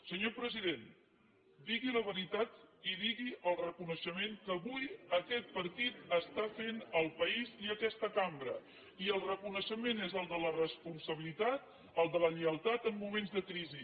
senyor president digui la veritat i digui el reconeixement que avui aquest partit està fent al país i a aquesta cambra i el reconeixement és el de la responsabilitat el de la lleialtat en moments de crisi